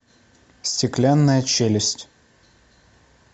стеклянная челюсть